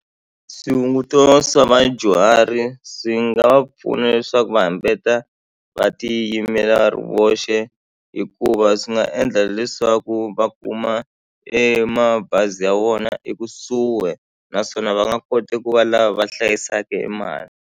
Swihunguto swa vadyuhari swi nga va pfuna leswaku va hambeta va tiyimela va ri voxe hikuva swi nga endla leswaku va kuma e mabazi ya vona ekusuhi naswona va nga koti ku va lava va hlayisaka e mali.